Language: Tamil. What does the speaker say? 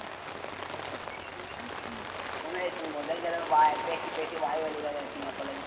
குமரேசன் முதல் தடவை வா~ பேசி, பேசி வாய் வலி வர வெச்சுருவிங்க போலருக்குது.